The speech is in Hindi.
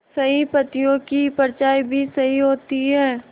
सही पत्तियों की परछाईं भी सही होती है